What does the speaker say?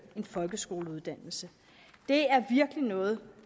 en folkeskoleuddannelse det er virkelig noget